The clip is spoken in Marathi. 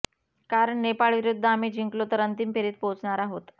कारण नेपाळविरुद्ध आम्ही जिंकलो तर अंतिम फेरीत पोहचणार आहोत